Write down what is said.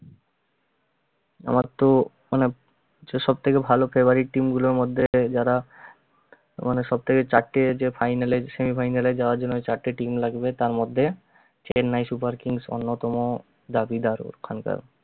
আমারতো অনেক সব থেকে ভালো favourite team গুলোর মধ্যে যারা মানে সবথেকে চারটে যে final এ semi final এ যাওয়ার জন্য যে চারটে team লাগবে তার মধ্যে chennai super kings অন্যতম দাবিদার ওখানকার